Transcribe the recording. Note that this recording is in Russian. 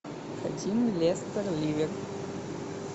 хотим лестер ливер